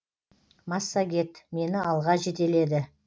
массагет мені алға жетеледі